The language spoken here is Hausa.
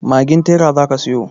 Magin tera zaki siyo.